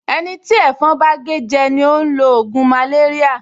Ẹni tí ẹ̀fọn bá gé jẹ ni ó ń lo ògùn màléríà